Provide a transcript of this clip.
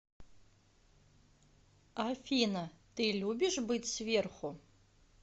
афина ты любишь быть сверху